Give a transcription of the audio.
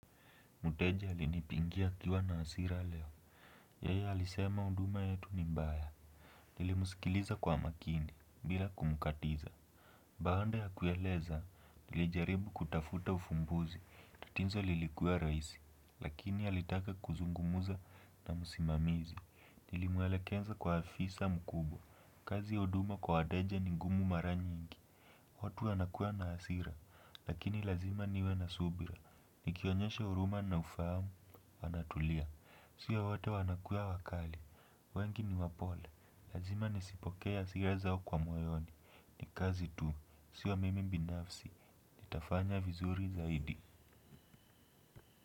Mteja alinipigia akiwa na hasira leo. Yeye alisema huduma yetu ni mbaya. Nilimsikiliza kwa makini, bila kumkatiza. Baanda ya kueleza, nilijaribu kutafuta ufumbuzi. Tatizo lilikuwa rahisi, lakini alitaka kuzungumza na msimamizi. Nilimwelekeza kwa afisa mkubwa. Kazi ya huduma kwa wateja ni ngumu mara nyingi. Watu wanakuwa na hasira, lakini lazima niwe na subira. Nikionyesha huruma na ufahamu, wanatulia, sio wote wanakuwa wakali. Wengi ni wapole, lazima nisipokee hasira zao kwa moyoni. Ni kazi tu, sio mimi binafsi, nitafanya vizuri zaidi.